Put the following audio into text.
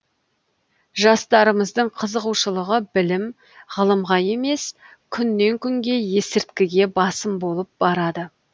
жастарымыздың қызығушылығы білім ғылымға емес күннен күнге есірткіге басым болып барады